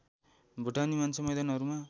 भुटानी मान्छे मैदानहरूमा